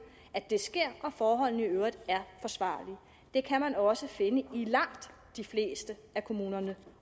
at det sker og at forholdene i øvrigt er forsvarlige det kan man også finde i langt de fleste af kommunerne